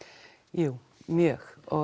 jú mjög og